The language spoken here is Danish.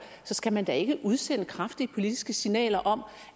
skal man da ikke udsende kraftige politiske signaler om